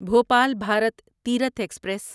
Bhopal Bharat Tirth express